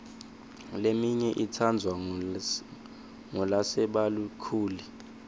leminye itsandvwa ngulasebakhulile